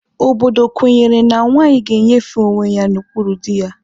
Obodo kwenyere na nwaanyị ga-enyefe onwe ya n'okpuru dị ya.